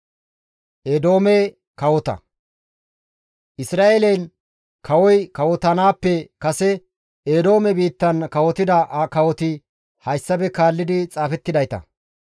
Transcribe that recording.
Isra7eelen kawoy kawotanaappe kase Eedoome biittan kawotida kawoti hayssafe kaalli xaafettidayta.